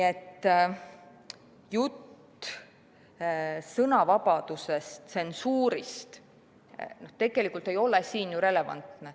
Jutt sõnavabadusest, tsensuurist ei ole siin ju relevantne.